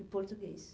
E português.